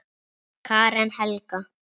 Karen Helga.